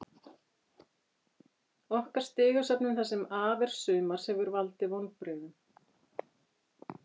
Okkar stigasöfnun það sem af er sumars hefur valdið vonbrigðum.